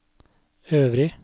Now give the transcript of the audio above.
øvrig